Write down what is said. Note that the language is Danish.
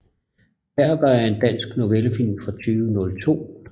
Perker er en dansk novellefilm fra 2002